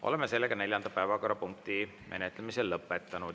Oleme neljanda päevakorrapunkti menetlemise lõpetanud.